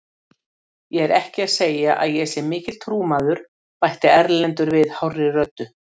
Ég er ekki að segja að ég sé mikill trúmaður, bætti Erlendur við hárri röddu.